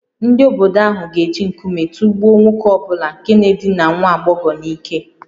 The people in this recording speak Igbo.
Ndị obodo ahụ ga-eji nkume tụgbuo nwoke ọ bụla nke na-edina nwa agbọghọ n’ike